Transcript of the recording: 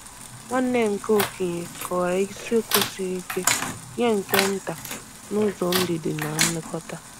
Nwanne nke okenye kọwara isiokwu siri ike nye nke nta n’ụzọ ndidi na nlekọta.